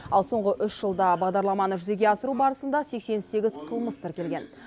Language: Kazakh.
ал соңғы үш жылда бағдарламаны жүзеге асыру барысында сексен сегіз қылмыс тіркелген